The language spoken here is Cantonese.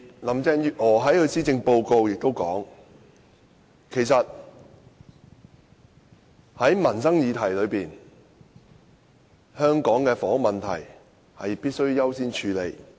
林鄭月娥也在其施政報告中說，在民生議題上，香港的房屋問題必須優先處理。